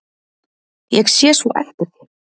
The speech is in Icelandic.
Ég sé svo eftir þér.